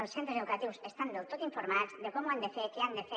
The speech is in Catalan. els centres educatius estan del tot informats de com ho han de fer què han de fer